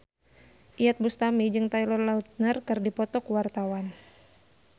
Iyeth Bustami jeung Taylor Lautner keur dipoto ku wartawan